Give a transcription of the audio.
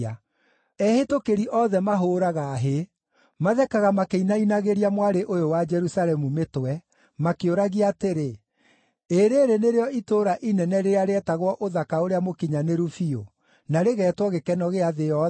Ehĩtũkĩri othe mahũũraga hĩ; mathekaga makĩinainagĩria Mwarĩ ũyũ wa Jerusalemu mĩtwe, makĩũragia atĩrĩ: “Ĩĩ rĩĩrĩ nĩrĩo itũũra inene rĩrĩa rĩetagwo ũthaka ũrĩa mũkinyanĩru biũ, na rĩgeetwo gĩkeno gĩa thĩ yothe?”